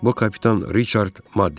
Bu kapitan Riçard Madden idi.